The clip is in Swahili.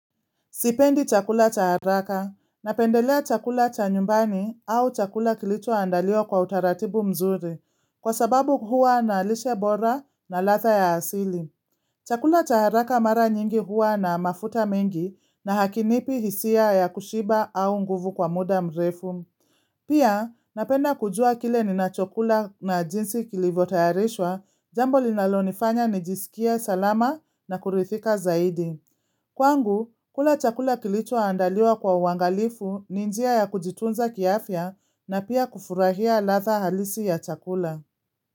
Sipendi chakula cha haraka, napendelea chakula cha nyumbani au chakula kilichoandaliwa kwa utaratibu mzuri, kwa sababu huwa na lishe bora na ladha ya asili. Chakula cha haraka mara nyingi hua na mafuta mengi na hakinipi hisia ya kushiba au nguvu kwa muda mrefu. Pia, napenda kujua kile ninachokula na jinsi kilivyotayalishwa, jambo linalonifanya nijisikia salama na kuridhika zaidi. Kwangu, kula chakula kilichoandaliwa kwa uangalifu ni njia ya kujitunza kiafya na pia kufurahia ladha halisi ya chakula.